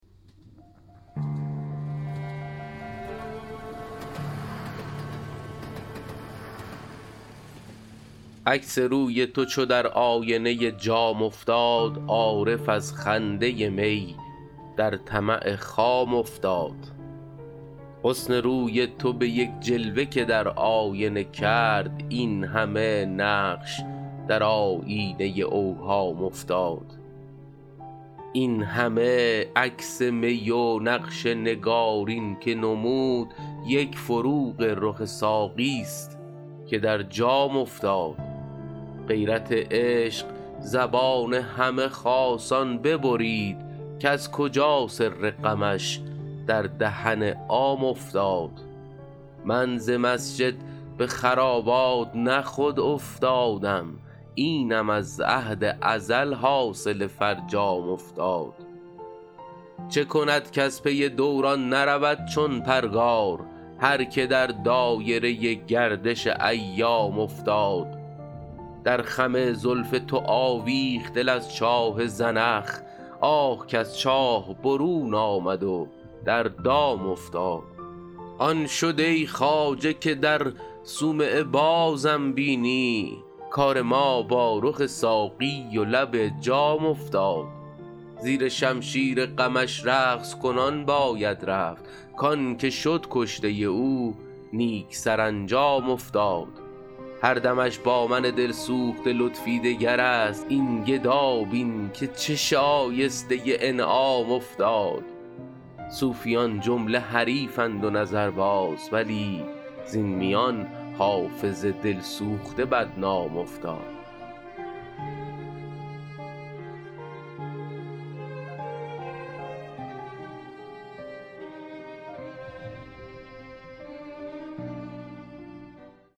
عکس روی تو چو در آینه جام افتاد عارف از خنده می در طمع خام افتاد حسن روی تو به یک جلوه که در آینه کرد این همه نقش در آیینه اوهام افتاد این همه عکس می و نقش نگارین که نمود یک فروغ رخ ساقی ست که در جام افتاد غیرت عشق زبان همه خاصان ببرید کز کجا سر غمش در دهن عام افتاد من ز مسجد به خرابات نه خود افتادم اینم از عهد ازل حاصل فرجام افتاد چه کند کز پی دوران نرود چون پرگار هر که در دایره گردش ایام افتاد در خم زلف تو آویخت دل از چاه زنخ آه کز چاه برون آمد و در دام افتاد آن شد ای خواجه که در صومعه بازم بینی کار ما با رخ ساقی و لب جام افتاد زیر شمشیر غمش رقص کنان باید رفت کـ آن که شد کشته او نیک سرانجام افتاد هر دمش با من دل سوخته لطفی دگر است این گدا بین که چه شایسته انعام افتاد صوفیان جمله حریفند و نظرباز ولی زین میان حافظ دل سوخته بدنام افتاد